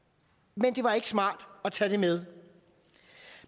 men det var ikke smart at tage det med